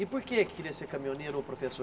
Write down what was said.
E por que é que queria ser caminhoneiro ou professor?